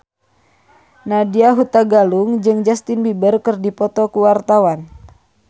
Nadya Hutagalung jeung Justin Beiber keur dipoto ku wartawan